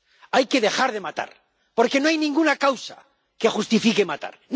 Hay que dejar de matar, porque no hay ninguna causa que justifique matar.